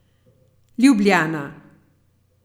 Ljubljana.